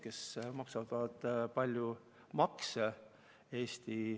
Nad maksavad palju makse.